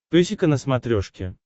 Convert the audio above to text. песика на смотрешке